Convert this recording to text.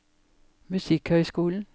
musikkhøyskolen